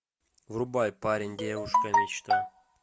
врубай парень девушка мечта